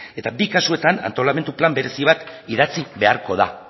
eta bi kasuetan antolamendu plan berezi bat idatzi beharko da